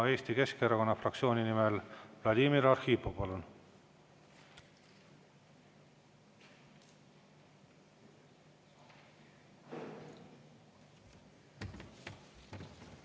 Eesti Keskerakonna fraktsiooni nimel Vladimir Arhipov, palun!